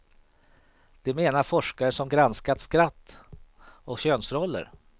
Det menar forskare som granskat skratt och könsroller.